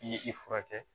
I ye i furakɛ